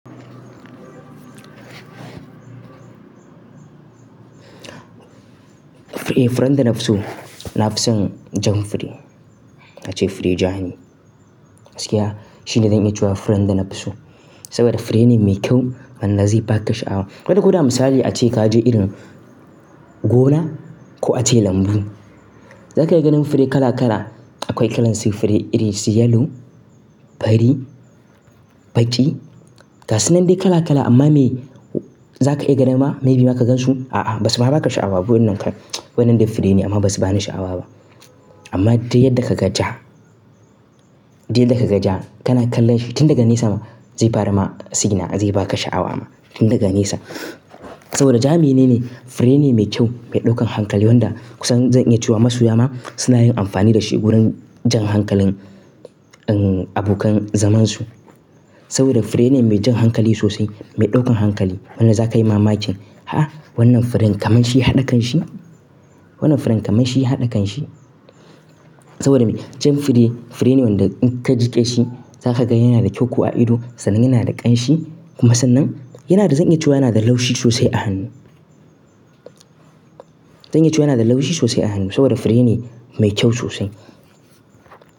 Eh, furen da na fiso. Na fi son jan fure, ace fure ja ne. Gakiya shine zan iya cewa fure na da nafi so saboda fure ne mai kyau man da zai ba ka sha'awa. Kada ko da misali ace ka ji irin gona ko ace lambu. Za ka iya ganin fure kala kala. Akwai kalan su fure iri su yellow, fari, baƙi. Ga su nan dai kala kala amma me za ka iya ganin ma me bi ma ka gan su? A'a ba su ma ba ka sha'awa. Wannan ka wannan dai fure ne amma ba su ba ni sha'awa ba. Amma dai yadda ka ga ja, dai yadda ka ga ja kana kallon shi tun daga nesa ma zai fara ma signa zai ba ka sha'awa ma tun daga nesa. Saboda ja menene fure ne mai kyau mai ɗaukan hankali wanda kusan zan iya cewa masoya ma suna yin amfani da shi wurin jan hankalin abokan zamansu. Saboda fure ne mai jan hankali sosai mai ɗaukan hankali. Wannan za ka yi mamakin. Ha! Wannan furen kamar shi ya haɗa kanshi. Wannan furen kamar shi ya haɗa kanshi. Saboda me? Jan fure fure ne wanda in ka jiƙe shi za ka ga yana da kyau ko a ido sanan yana da ƙanshi kuma sannan yana da zan iya cewa yana da laushi sosai a hannu. Zan iya cewa yana da laushi sosai a hannu saboda fure ne mai kyau sosai.